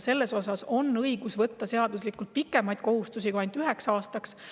Selle puhul on õigus võtta pikemaid kohustusi kui ainult üheks aastaks.